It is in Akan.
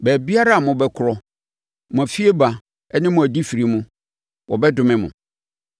Baabiara a mobɛkorɔ, mo fieba ne mo adifire mu, wɔbɛdome mo.